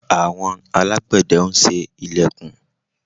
Àwon alágbẹ̀de n se ilẹ̀kùn